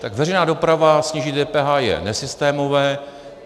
Tak veřejná doprava, snížit DPH je nesystémové.